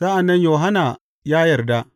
Sa’an nan Yohanna ya yarda.